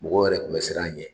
Mɔgɔw yɛrɛ tun bɛ siran a ɲɛ